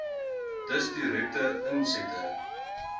dus direkte insette